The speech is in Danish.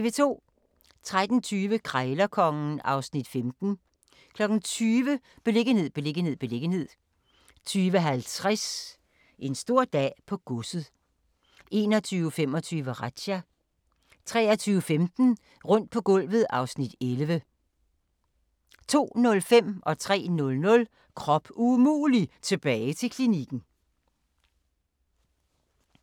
13:20: Krejlerkongen (Afs. 15) 20:00: Beliggenhed, beliggenhed, beliggenhed 20:50: En stor dag på godset 21:25: Razzia 23:15: Rundt på gulvet (Afs. 11) 02:05: Krop umulig - tilbage til klinikken 03:00: Krop umulig - tilbage til klinikken